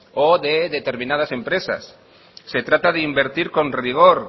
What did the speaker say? o de determinadas empresas se trata de invertir con rigor